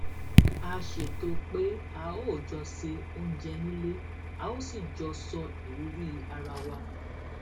a ṣètò pé a ó jọ se oúnjẹ nílé a ó sì jọ sọ ìrírí ara wa